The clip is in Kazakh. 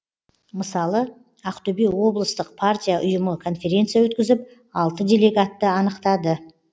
мысалы ақтөбе облыстық партия ұйымы конференция өткізіп алты делегатты анықтады